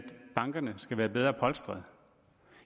bankerne skal være bedre polstrede